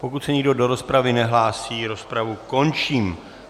Pokud se nikdo do rozpravy nehlásí, rozpravu končím.